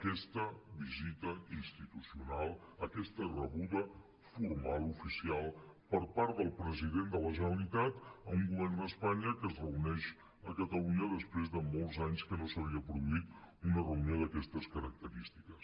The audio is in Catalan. aquesta visita institucional aquesta rebuda formal oficial per part del president de la generalitat a un govern d’espanya que es reuneix a catalunya després de molts anys que no s’havia produït una reunió d’aquestes característiques